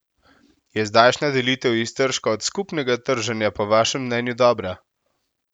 Je zdajšnja delitev iztržka od skupnega trženja po vašem mnenju dobra?